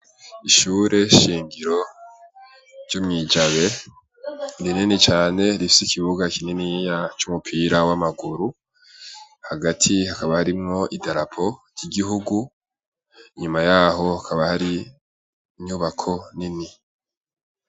Ishure shingiro ry'umwijabe rinini cane rifse ikibuga kininia c'umupira w'amaguru hagati hakaba harimwo idarapo ry'igihugu inyuma yaho hakaba hari inyubako nini.